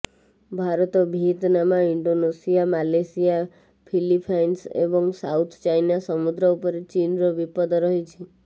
Bharat Vietnam Indonesia Malaysia Philippines ଏବଂ South China ସମୁଦ୍ର ଉପରେ ଚୀନର ବିପଦ ରହିଛି